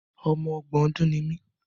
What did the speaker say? Ọmọ ọgbọ̀n ọdùn ni mí.